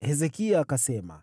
Hezekia akasema,